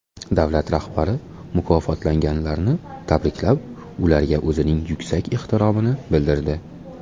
Davlat rahbari mukofotlanganlarni tabriklab, ularga o‘zining yuksak ehtiromini bildirdi.